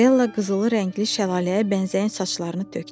Della qızılı rəngli şəlaləyə bənzəyən saçlarını tökdü.